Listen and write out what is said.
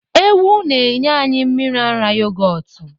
Ewu na enye anyi mmiri ara yogọtu.